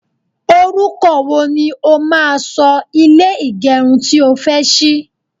oruko wo ni o máa so ile igerun tí o fe sí?